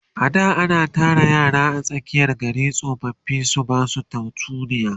a da ana Tara yara a tsakiyan gari tsofaffi su Basu tatsuniya